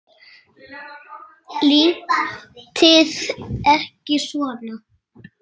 Látið ekki svona.